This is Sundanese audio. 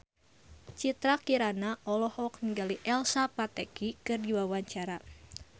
Citra Kirana olohok ningali Elsa Pataky keur diwawancara